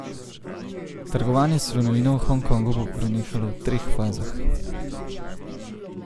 Trgovanje s slonovino v Hong Kongu bo prenehalo v treh fazah.